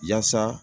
Yaasa